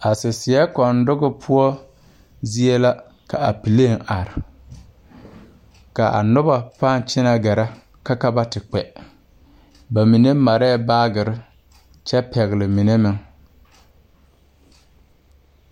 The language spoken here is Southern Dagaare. A saseɛ kɔndoge poɔ zie la ka a pileŋ are, ka a noba pãã kyɛnɛ gɛrɛ ka ba te kpɛ. Ba mine marɛɛ baagere kyɛ pɛgele mine meŋ.